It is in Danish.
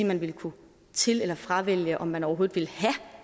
man ville kunne til eller fravælge om man overhovedet ville have